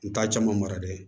N t'a caman mara dɛ